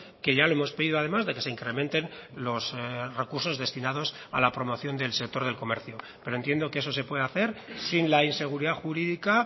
que ya lo hemos pedido además de que se incrementen los recursos destinados a la promoción del sector del comercio pero entiendo que eso se puede hacer sin la inseguridad jurídica